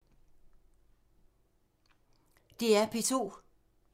DR P2